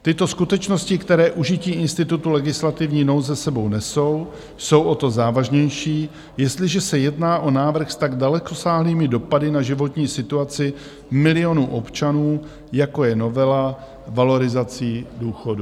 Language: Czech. Tyto skutečnosti, které užití institutu legislativní nouze s sebou nesou, jsou o to závažnější, jestliže se jedná o návrh s tak dalekosáhlými dopady na životní situaci milionů občanů, jako je novela valorizací důchodů.